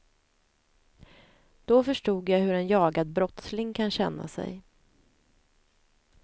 Då förstod jag hur en jagad brottsling kan känna sig.